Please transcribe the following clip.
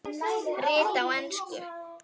Rit á ensku